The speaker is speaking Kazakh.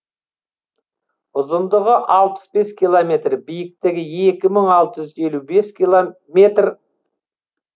ұзындығы алпыс бес километр биіктігі екі мың алты жүз елу бес метр